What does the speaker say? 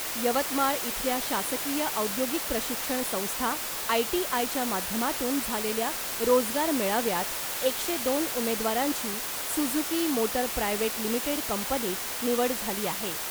यवतमाळ इथल्या शासकीय औद्योगिक प्रशिक्षण संस्था आयटीआयच्या माध्यमातून झालेल्या रोजगार मेळाव्यात एकशे दोन उमेदवारांची सुझुकी मोटर प्रायव्हेट लिमिटेड कंपनीत निवड झाली आहे .